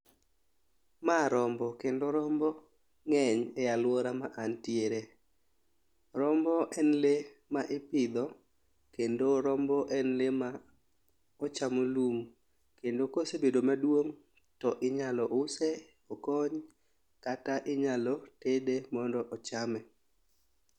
Ma rombo kendo rombo ng'eny e aluora ma antiere . Rombo en lee ma ipidho kendo rombo en lee ma ochamo lum kendo kosebedo maduong' to inyalo use okony kata inyalo tede mondo ochame.